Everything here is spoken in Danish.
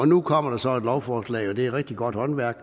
nu kommer der så et lovforslag og det er rigtig godt håndværk